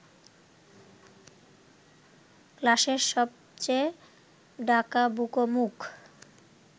ক্লাসের সবচেয়ে ডাকাবুকো মুখ